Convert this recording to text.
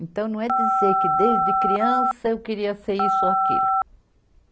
Então, não é dizer que desde criança eu queria ser isso ou aquilo.